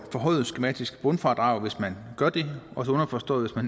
forhøjet skematisk bundfradrag hvis man gør det underforstået at